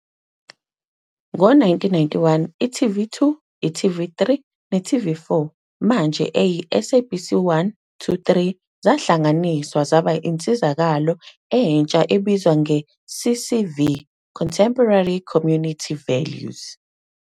Ngo-1991, i-TV2, i-TV3 ne-TV4, manje eyi-SABC 1-3, zahlanganiswa zaba insizakalo entsha ebizwa nge-CCV, Contemporary Community Values.